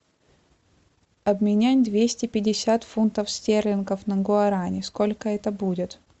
обменять двести пятьдесят фунтов стерлингов на гуарани сколько это будет